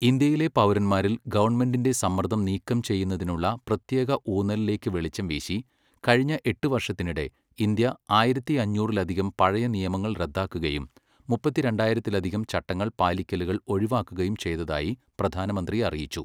ഇന്ത്യയിലെ പൗരന്മാരിൽ ഗവൺമെന്റിന്റെ സമ്മർദം നീക്കം ചെയ്യുന്നതിനുള്ള പ്രത്യേക ഊന്നലിലേക്കു വെളിച്ചം വീശി, കഴിഞ്ഞ എട്ട് വർഷത്തിനിടെ ഇന്ത്യ ആയിരത്തിയഞ്ഞൂറിലധികം പഴയ നിയമങ്ങൾ റദ്ദാക്കുകയും മുപ്പത്തിരണ്ടായിരത്തിലധികം ചട്ടങ്ങൾ പാലിക്കലുകൾ ഒഴിവാക്കുകയും ചെയ്തതായി പ്രധാനമന്ത്രി അറിയിച്ചു.